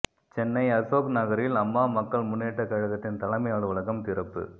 சென்னை அசோக் நகரில் அம்மா மக்கள் முன்னேற்றக் கழகத்தின் தலைமை அலுவலகம் திறப்பு